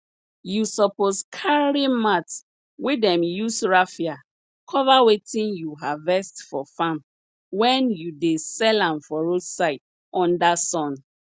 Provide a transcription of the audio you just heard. you suppose carry mat wey dem use rafia cover wetin you harvest for farm when you dey sell am for road side under sun